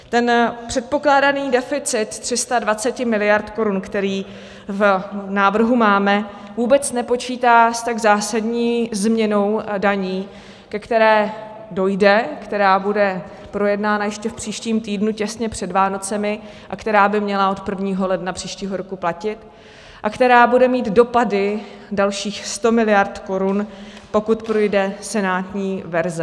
Ten předpokládaný deficit 320 miliard korun, který v návrhu máme, vůbec nepočítá s tak zásadní změnou daní, ke které dojde, která bude projednána ještě v příštím týdnu těsně před Vánoci a která by měla od 1. ledna příštího roku platit a která bude mít dopady dalších 100 miliard korun, pokud projde senátní verze.